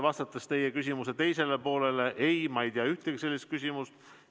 Vastates teie küsimuse teisele poolele: ei, ma ei tea ühtegi sellist küsimust.